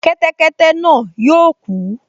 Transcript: Kẹ́tẹ́kẹ́tẹ́ náà yóò kú